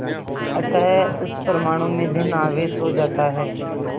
अतः उस परमाणु में धन आवेश हो जाता है